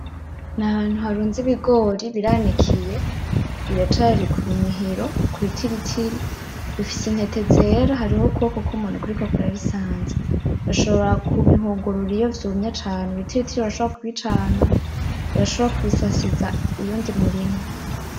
N'ahantu harunze ibigori biranikiye biracari kumihiro(kubitiritiri) bifise intete zera harukubuko kumuntu kuriko kurabisanza ushobora kubihungurura iyo vyumye cane ,ibitiritiri urashobora kubicana, urashobora kubisasiza uyundi murima